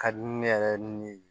Ka di ne yɛrɛ ni